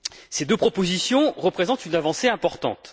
Ces deux propositions représentent une avancée importante.